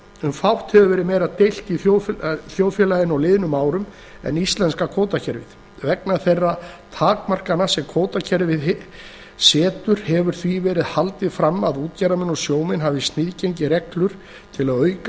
um fátt hefur meira verið deilt í þjóðfélaginu á liðnum árum en íslenska kvótakerfið vegna þeirra takmarkana sem kvótakerfið setur hefur því verið haldið fram að útgerðarmenn og sjómenn hafi sniðgengið reglurnar til að auka